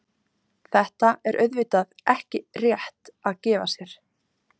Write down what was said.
Þetta er auðvitað ekki rétt að gefa sér.